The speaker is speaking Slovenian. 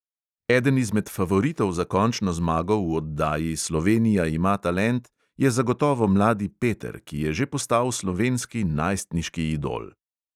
Eden izmed favoritov za končno zmago v oddaji slovenija ima talent je zagotovo mladi peter, ki je že postal slovenski najstniški idol.